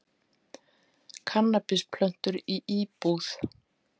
Kannabisplöntur í íbúð